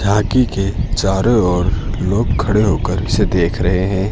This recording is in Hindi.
झांकी के चारों ओर लोग खड़े होकर इसे देख रहे हैं।